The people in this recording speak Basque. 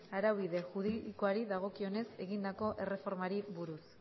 araubide juridikoari dagokionez egindako erreformari buruz